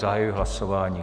Zahajuji hlasování.